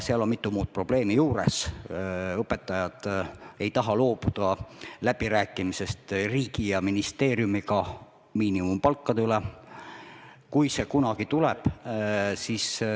Seal on aga mitu muud probleemi juures, näiteks õpetajad ei taha loobuda läbirääkimisest riigi ja ministeeriumiga miinimumpalkade üle.